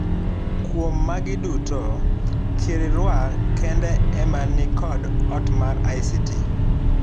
Kuom magi duto, Kirirwa kende emanikod ot mar ICT.